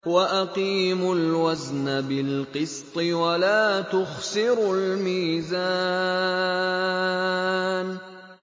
وَأَقِيمُوا الْوَزْنَ بِالْقِسْطِ وَلَا تُخْسِرُوا الْمِيزَانَ